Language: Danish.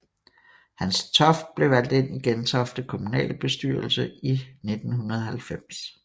Hans Toft blev valgt ind i Gentofte Kommunalbestyrelse i 1990